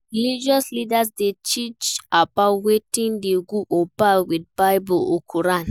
Religious leaders de teach about wetin de good or bad with Bible or Quran